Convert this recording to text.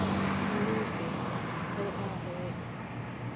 mmipe ke a go kwa